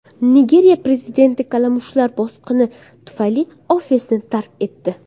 Nigeriya prezidenti kalamushlar bosqini tufayli ofisini tark etdi .